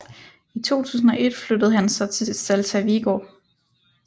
I 2001 flyttede han så til Celta Vigo